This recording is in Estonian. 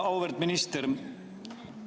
Auväärt minister!